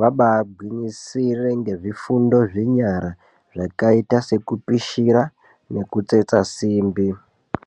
vabagwinyisire nezvifundo zvenyara zvakaita sekupisira nekutsetsa simbi.